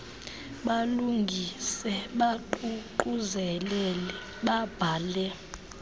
balungise baququzelele babhale